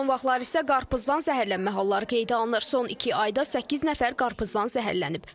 Son vaxtlar isə qarpızdan zəhərlənmə halları qeydə alınır, son iki ayda səkkiz nəfər qarpızdan zəhərlənib.